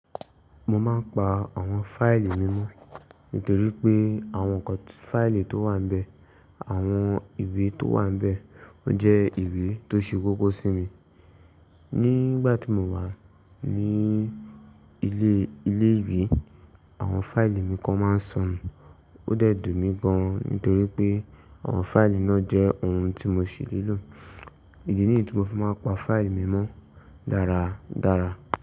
Mo máa ń pa àwọn fáìlì mi mọ́ nítorí pé àwọn nkan fáìlì tó wà níbẹ̀, àwọn ìwé tó wà níbẹ̀, ó jẹ́ ìwé tó ṣe koko sí mi. Nígbà tí mo wà ní ilé, ilé ìwé, àwọn fáìlì mi kan máa ń sọnù, ó dẹ̀ dùn mí gan nítorí pé àwọn fáìlì náà jẹ́ ohun tí mo ṣi nílò. Èyí ni èyí tí mo fi máa ń pa fáìlì mi mọ́ dára dára.